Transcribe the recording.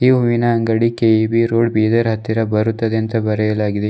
ಹೂವಿನ ಅಂಗಡಿ K E B road Bidar ಹತ್ತಿರ ಬರುತ್ತದೆ ಅಂತ ಬರೆಯಲಾಗಿದೆ.